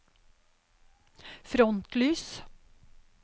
frontlys